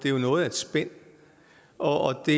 er noget af et spænd og det